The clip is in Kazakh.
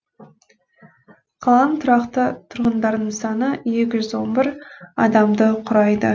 қаланың тұрақты тұрғындарының саны екі жүз он бір адамды құрайды